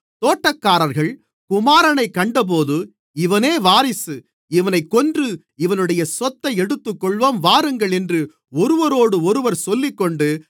தோட்டக்காரர்கள் குமாரனைக் கண்டபோது இவனே வாரிசு இவனைக் கொன்று இவனுடைய சொத்தை எடுத்துக்கொள்ளுவோம் வாருங்கள் என்று ஒருவரோடொருவர் சொல்லிக்கொண்டு